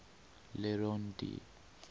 le rond d